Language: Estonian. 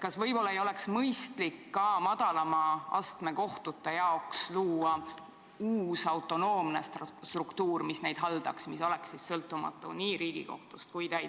Kas võib-olla ei oleks mõistlik luua ka madalama astme kohtute jaoks uus autonoomne struktuur, mis neid haldaks, mis oleks sõltumatu nii Riigikohtust kui ka